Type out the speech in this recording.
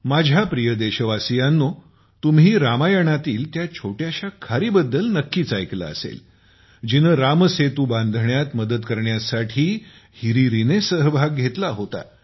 माझ्या प्रिय देशवासियांनो तुम्ही रामायणातील त्या छोट्याश्या खारी बद्दल नक्कीच ऐकले असेल जिने रामसेतू बांधण्यात मदत करण्यासाठी हिरीरीने सहभाग घेतला होता